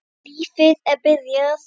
Lífið er byrjað.